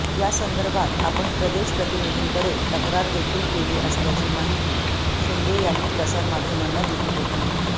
या संदर्भात आपण प्रदेश प्रतिनिधींकडे तक्रार देखील केली असल्याची माहिती शिंदे यांनी प्रसारमाध्यमांना दिली होती